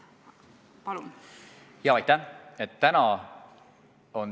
Aitäh!